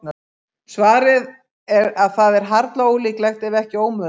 Svarið er að það er harla ólíklegt, ef ekki ómögulegt.